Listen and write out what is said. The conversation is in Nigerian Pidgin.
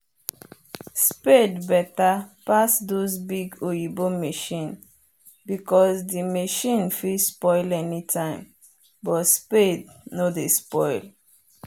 spade better pass those big oyibo machine because the machine fit spoil anytime but spade nor dey spoil.